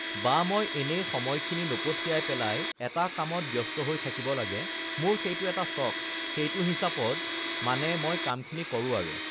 বা মই এনেই সময়খিনি নপঠিয়াই পেলাই এটা কামত ব্য়স্ত হৈ থাকিব লাগে মোৰ সেইটো এটা চখ সেইটো হিচাবত মানে মই কামখিনি কৰোঁ আৰু